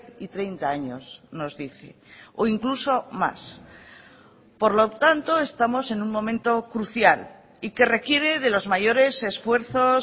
y treinta años nos dice o incluso más por lo tanto estamos en un momento crucial y que requiere de los mayores esfuerzos